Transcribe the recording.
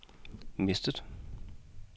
mistet